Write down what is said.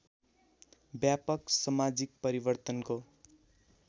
व्यापक समाजिक परिवर्तनको